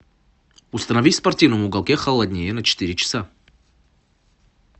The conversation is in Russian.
установи в спортивном уголке холоднее на четыре часа